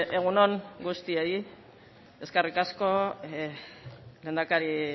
egun on guztioi eskerrik asko lehendakari